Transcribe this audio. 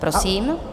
Prosím.